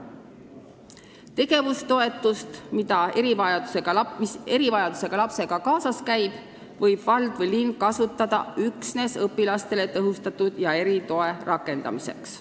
Tegevustoetust, mis erivajadustega lapsega kaasas käib, võib vald või linn kasutada üksnes õpilastele tõhustatud ja eritoe andmiseks.